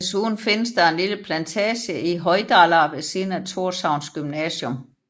Desuden findes der en lille plantage i Hoydalar ved siden af Tórshavns gymnasium